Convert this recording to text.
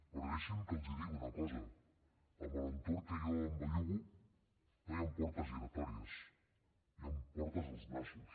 però deixin me que els digui una cosa en l’entorn que jo em bellugo no hi han portes giratòries hi han portes als nassos